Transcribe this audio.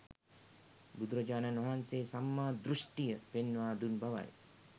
බුදුරජාණන් වහන්සේ සම්මා දෘෂ්ඨිය පෙන්වා දුන් බවයි.